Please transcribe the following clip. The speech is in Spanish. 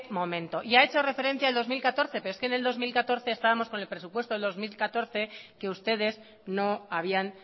momento ya ha hecho referencia el dos mil catorce pero es que en el dos mil catorce ya estábamos con el presupuesto del dos mil catorce que ustedes no habían